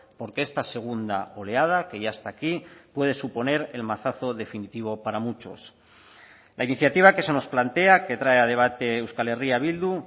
porque esta segunda oleada que ya está aquí puede suponer el mazazo definitivo para muchos la iniciativa que se nos plantea que trae a debate euskal herria bildu